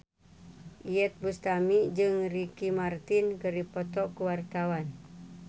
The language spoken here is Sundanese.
Iyeth Bustami jeung Ricky Martin keur dipoto ku wartawan